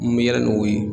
N bɛ yala n'o ye